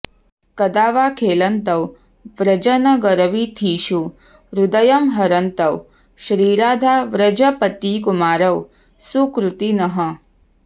कदा वा खेलन्तौ व्रजनगरवीथिषु हृदयं हरन्तौ श्रीराधाव्रजपतिकुमारौ सुकृतिनः